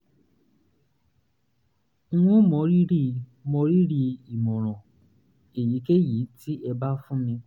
n ó mọrírì mọrírì ìmọ̀ràn èyíkéyìí tẹ́ ẹ bá fún mi